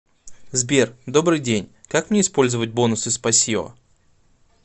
сбер добрый день как мне использовать бонусы спасиьо